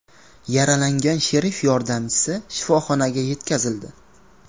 Yaralangan sherif yordamchisi shifoxonaga yetkazildi.